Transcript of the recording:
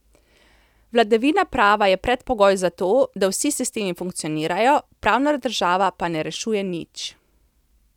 Vladavina prava je predpogoj za to, da vsi sistemi funkcionirajo, pravna država pa ne rešuje nič.